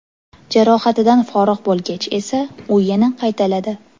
Jarohatidan forig‘ bo‘lgach esa, u yana qaytalanadi.